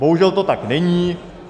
Bohužel to tak není.